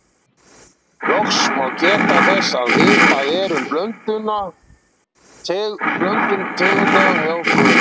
Loks má geta þess að vitað er um blöndun tegunda hjá hvölum.